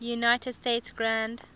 united states grand